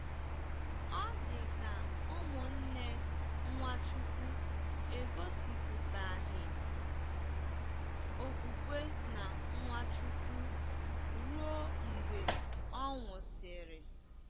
Ọ dị ka ụmụnne Nwachukwu egosipụtaghị okwukwe na Nwachukwu ruo mgbe ọ nwụsịrị.